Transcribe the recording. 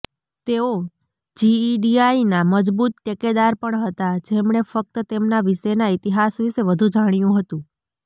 તેઓ જેઈડીઆઈના મજબૂત ટેકેદાર પણ હતા જેમણે ફક્ત તેમના વિશેના ઇતિહાસ વિશે વધુ જાણ્યું હતું